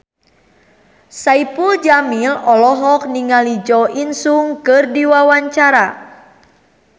Saipul Jamil olohok ningali Jo In Sung keur diwawancara